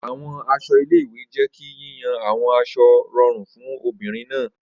Awọn aṣọ ile-iwe jẹ ki yiyan awọn aṣọ rọrun fun obinrin naa.